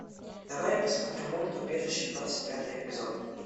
давай я посмотрю мульт убежище двадцать пятый эпизод